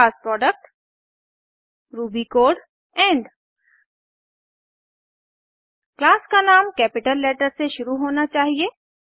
class product Ruby code end class का नाम capital letter से शुरू होना चाहिए